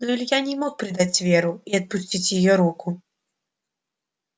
но илья не мог предать веру и отпустить её руку